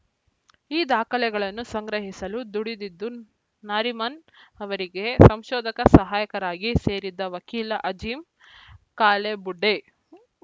ಈ ದಾಖಲೆಗಳನ್ನು ಸಂಗ್ರಹಿಸಿಲು ದುಡಿದಿದ್ದು ನಾರಿಮನ್‌ ಅವರಿಗೆ ಸಂಶೋಧಕ ಸಹಾಯಕರಾಗಿ ಸೇರಿದ ವಕೀಲ ಅಜೀಂ ಕಾಲೇಬುಡ್ಡೆ